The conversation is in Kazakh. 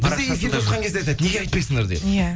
біз де эфирде отқан кезде айтады неге айтпайсыңдар деп иә